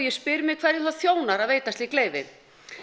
spyr mig hverju það þjónar að veita slík leyfi